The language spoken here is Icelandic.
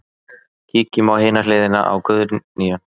Kíkjum á hina hliðina á Guðnýju.